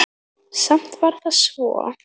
Samt var það svo.